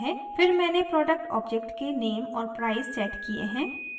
फिर मैंने product object के name और price सेट किये हैं